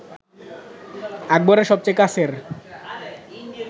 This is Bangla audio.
আকবরের সবচেয়ে কাছের